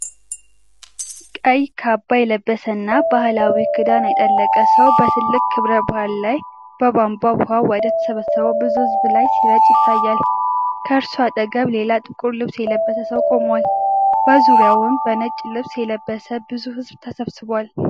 ቀይ ካባ የለበሰና ባህላዊ ክዳን ያጠለቀ ሰው በትልቅ ክብረ በዓል ላይ በቧንቧ ውሃ ወደ ተሰበሰበው ብዙ ሕዝብ ላይ ሲረጭ ይታያል። ከእርሱ አጠገብ ሌላ ጥቁር ልብስ የለበሰ ሰው ቆሟል፤ በዙሪያው በነጭ ልብስ የለበሰ ብዙ ሕዝብ ተሰብስቧል።